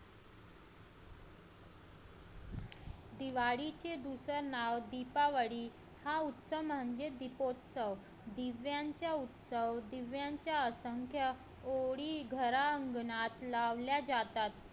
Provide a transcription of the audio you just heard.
दिवाळीचे दुसरे नाव दीपावली हा उत्सव म्हणजे दीपोत्सव दिव्यांचा उत्सव दिव्यांच्या असंख्य ओळी घरा अंगणात लावल्या जातात